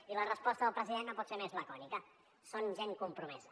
i la resposta del president no pot ser més lacònica són gent compromesa